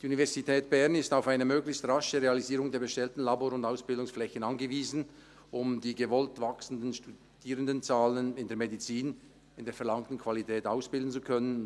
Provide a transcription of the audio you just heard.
Die Universität Bern ist auf eine möglichst rasche Realisierung der bestellten Labor- und Ausbildungsflächen angewiesen, um die gewollt wachsenden Studierendenzahlen in der Medizin in der verlangten Qualität ausbilden zu können.